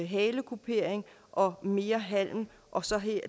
halekupering og mere halm og så